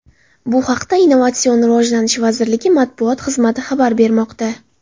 Bu haqda Innovatsion rivojlanish vazirligi matbuot xizmati xabar bermoqda .